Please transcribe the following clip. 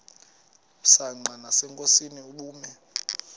msanqa nasenkosini ubume